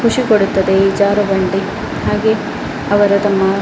ಖುಷಿ ಕೊಡುತ್ತದೆ ಈ ಜಾರಬಂಡಿ ಹಾಗೆ ಅವರ ತಮ್ಮ .